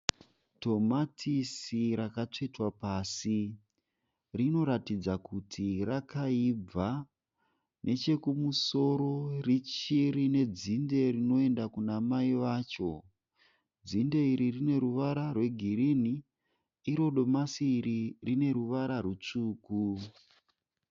Tomatisi rakatsvetwa pasi. Rinoratidza kuti rakaibva. Nechekumusoro richirine dzinde rinoenda kunamai vacho. Dzinde iri rine ruvara rwegirini. Iro domasi iri rine ruvara rutsvuku.